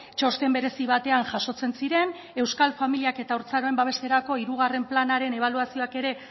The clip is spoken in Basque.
txosten berezi batean jasotzen ziren euskal familiak eta haurtzaroen babeserako hirugarren planaren ebaluazioak ere